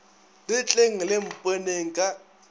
le tleng le mponeng ka